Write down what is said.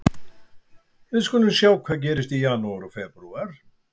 Við skulum sjá hvað gerist í janúar og febrúar.